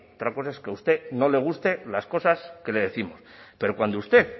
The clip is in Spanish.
otra cosa es que a usted no le gusten las cosas que le décimos pero cuando usted